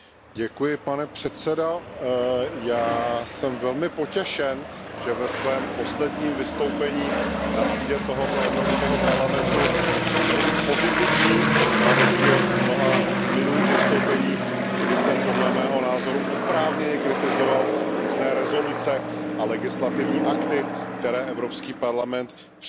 Pane předsedající, já jsem velmi potěšen, že ve svém posledním vystoupení na půdě tohoto Evropského parlamentu mohu být pozitivní, na rozdíl od mnoha minulých vystoupení, kdy jsem, podle mého názoru, oprávněně kritizoval různé rezoluce a legislativní akty, které Evropský parlament přijal.